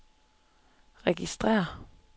registrér